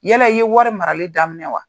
Yala i ye wari marali daminɛ wa?